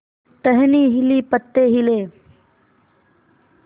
टहनी हिली पत्ते हिले